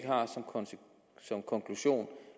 og